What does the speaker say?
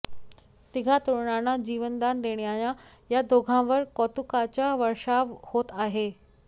तिघा तरुणांना जीवनदान देणाऱ्यां या दोघांवर कौतुकाचा वर्षाव होत आहे